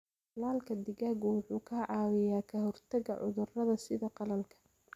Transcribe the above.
Tallaalka digaaggu wuxuu ka caawiyaa ka hortagga cudurradha sida qalaalka.